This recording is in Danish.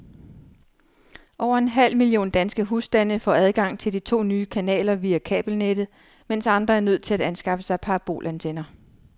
Over en halv million danske husstande får adgang til de to nye kanaler via kabelnettet, mens andre er nødt til at anskaffe sig parabolantenner.